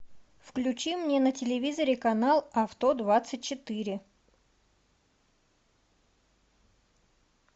включи мне на телевизоре канал авто двадцать четыре